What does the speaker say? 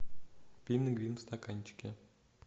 пингвин в стаканчике